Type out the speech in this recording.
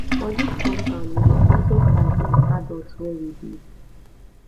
[] for dis compound we dey settle fight like adults wey we be